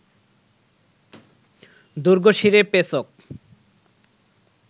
দুর্গশিরে পেচক